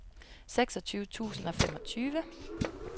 seksogtyve tusind og femogtyve